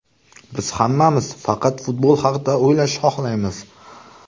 Biz hammamiz faqat futbol haqida o‘ylashni xohlaymiz”.